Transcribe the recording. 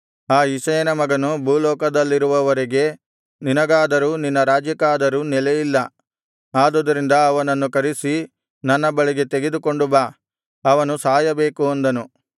ಆ ಇಷಯನ ಮಗನು ಭೂಲೋಕದಲ್ಲಿರುವವರೆಗೆ ನಿನಗಾದರೂ ನಿನ್ನ ರಾಜ್ಯಕ್ಕಾದರೂ ನೆಲೆಯಿಲ್ಲ ಆದುದರಿಂದ ಅವನನ್ನು ಕರಿಸಿ ನನ್ನ ಬಳಿಗೆ ತೆಗೆದುಕೊಂಡು ಬಾ ಅವನು ಸಾಯಬೇಕು ಅಂದನು